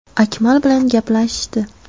Akmal bilan gaplashishdi.